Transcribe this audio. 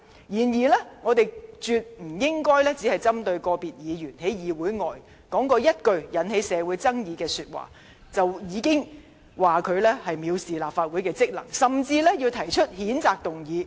不過，我們絕不應只針對個別議員在議會外所說的一句引起社會爭議的話，而批評他藐視立法會的職能，甚至提出譴責議案。